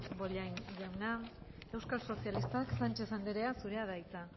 bollain jauna euskal sozialistak sánchez anderea zurea da hitza